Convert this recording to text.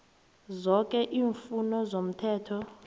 zoke iimfuno zomthetho